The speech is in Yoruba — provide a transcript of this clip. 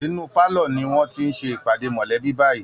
Inú pálọ ni wọ́n ti ń ṣe ìpàdé mọ̀lẹ́bí báyìí